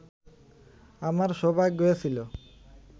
আমার সৌভাগ্য হয়েছিল